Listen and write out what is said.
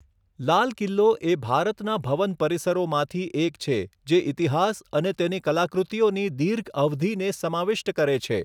લાલ કિલ્લો એ ભારતના ભવન પરિસરોમાંથી એક છે જે ઇતિહાસ અને તેની કલાકૃતિઓની દીર્ઘ અવધિને સમાવિષ્ટ કરે છે.